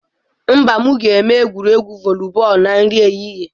Mba, m ga-eme egwuregwu voli bọọlụ na nri ehihie.